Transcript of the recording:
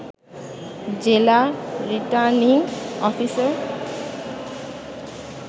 জেলা returning officer